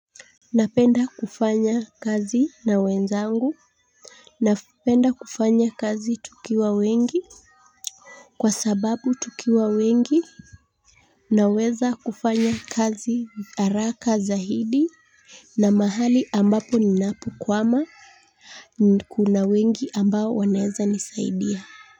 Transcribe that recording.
Napenda kufanya kazi na wenzangu. Napenda kufanya kazi tukiwa wengi. Kwa sababu tukiwa wengi naweza kufanya kazi haraka zaidi. Na mahali ambapo ninapokwama kuna wengi ambao wanaeza nisaidia.